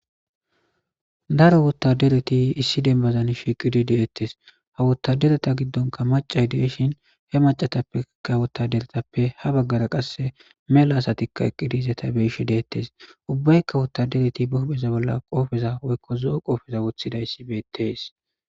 Daro wottadereti issi dembazan shiqidi deettes ha wottadereta giddonka macay deeshin he macatappeka wotta deretappe ha baggara qasse mela asatikka eqqidize ta beishe deettes ubbaykka wottadereti buhbeza bolla qoofeza woykko zo'o qoofeza wothida issi beettees.